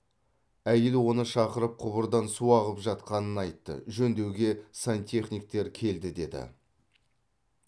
әйел оны шақырып құбырдан су ағып жатқанын айтты жөндеуге сантехниктер келді деді